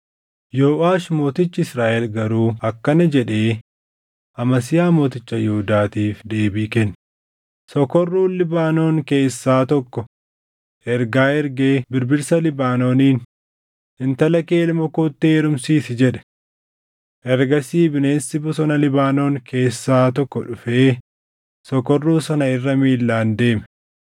Yooʼaash mootichi Israaʼel garuu akkana jedhee Amasiyaa mooticha Yihuudaatiif deebii kenne; “Sokorruun Libaanoon keessaa tokko ergaa ergee birbirsaa Libaanooniin, ‘Intala kee ilma kootti heerumsiisi’ jedhe. Ergasii bineensi bosona Libaanoon keessaa tokko dhufee sokorruu sana irra miilaan deeme.